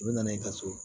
U bɛ na n'i ka so ye